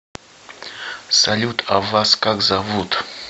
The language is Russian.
салют а вас как зовут